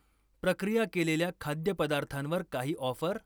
प्रक्रिया केलेल्या खाद्यपदार्थांवर काही ऑफर?